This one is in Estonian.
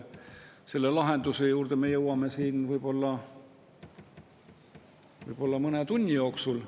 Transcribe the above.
Selle lahenduse juurde me jõuame siin võib-olla mõne tunni jooksul.